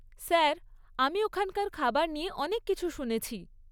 Sir, আমি ওখানকার খাবার নিয়ে অনেক কিছু শুনেছি।